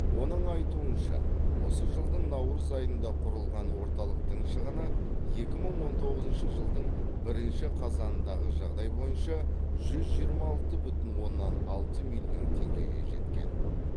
оның айтуынша осы жылдың наурыз айында құрылған орталықтың шығыны екі мың он тоғызыншы жылдың бірінші қазанындағы жағдай бойынша жүз жиырма алты бүтін оннан алты миллион теңгеге жеткен